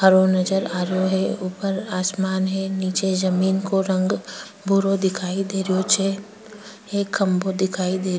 हरो नजर आरो ऊपर आसमान है निचे जमीं को रंग भूरो दिखाई देरो छे एक खम्भों दिखाई --